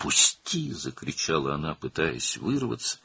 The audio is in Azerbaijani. "Burax!" – qışqırdı o, qurtulmağa çalışaraq.